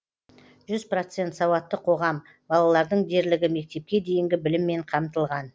жүз процент сауатты қоғам балалардың дерлігі мектепке дейінгі біліммен қамтылған